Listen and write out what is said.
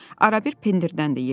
Arabir pendirdən də yedi.